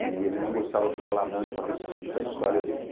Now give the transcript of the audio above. E ele não gostava de falar muito a respeito da história dele.